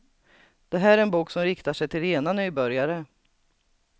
Det här är en bok som riktar sig till rena nybörjare.